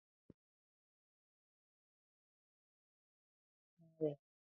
Ana m agba anụ ahụ tupu m esichaa ya.